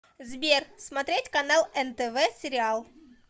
сбер смотреть канал нтв сериал